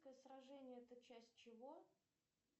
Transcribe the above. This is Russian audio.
сражение это часть чего